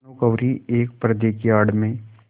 भानुकुँवरि एक पर्दे की आड़ में